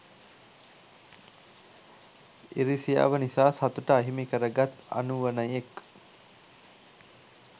ඉරිසියාව නිස‍ා සතුට අහිමි කරගත් අනුවනයෙක්